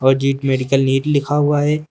और Jeet medical NEET लिखा हुआ है।